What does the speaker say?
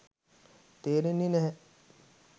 තේරෙන්නේ නැහැ.